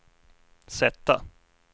sätta